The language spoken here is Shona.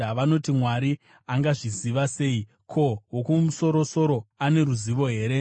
Vanoti, “Mwari angazviziva sei? Ko, Wokumusoro-soro ane ruzivo here?”